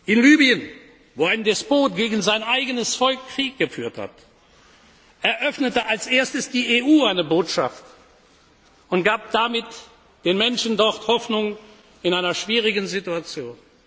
Parlament. In Libyen, wo ein Despot gegen sein eigenes Volk Krieg geführt hat, eröffnete als Erstes die EU eine Botschaft und gab damit den Menschen dort Hoffnung in einer schwierigen